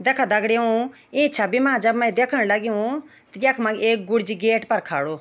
देखा दगडियों ई छवि मा जब मै दयेखण लग्यूं त यख मा एक गुर्जी गेट पर खडो।